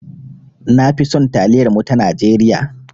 Na fi son taliyar mu ta Najeriya.